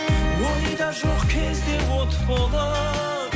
ойда жоқ кезде от болып